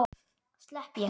Slepp ég?